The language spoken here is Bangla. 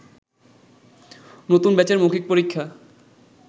নতুন ব্যাচের মৌখিক পরীক্ষা